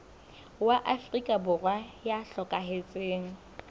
wa afrika borwa ya hlokahetseng